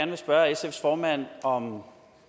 vil spørge sfs formand om